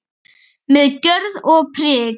Með gjörð og prik.